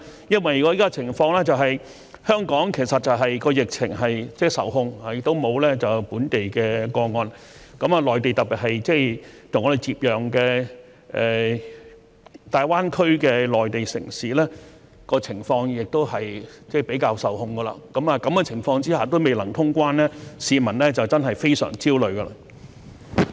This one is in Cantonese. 因為現時的情況是香港其實疫情受控，亦沒有本地個案，而內地特別是跟我們接壤的大灣區的內地城市，情況亦控制得較好，在這個情況下也未能通關，市民真的非常焦慮。